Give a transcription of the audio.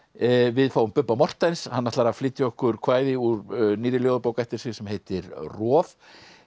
við fáum Bubba Morthens hann ætlar að flytja okkur kvæði úr nýrri ljóðabók eftir sig sem heitir roð